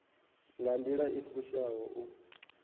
nga nḓila i fushaho u